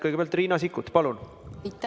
Kõigepealt Riina Sikkut, palun!